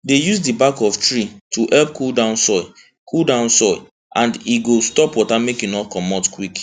dey use back of tree to help cool down soil cool down soil and e go stop water make e no comot quick